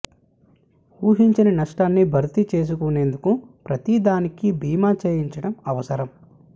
ఊహించని నష్టాన్ని భర్తీ చేసుకునేందుకు ప్రతీ దానికి బీమా చేయించడం అవసరం